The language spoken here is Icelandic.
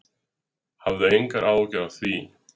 Hafðu engar áhyggjur af því.